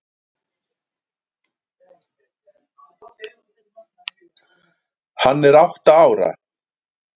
Hann er átta ára.